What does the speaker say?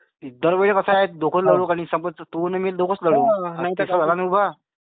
दर वेळी कसे दोघेच... तू अं मी दोघाच लढू. आता तिसरा झाला ना उभा.